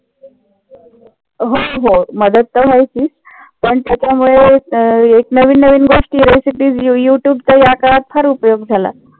हो हो. मदत तर व्हायचीच. पण त्याच्यामुळे एक नवीन नवीन गोष्टी qurocities युटूबचा या काळात फार उपयोग झाला.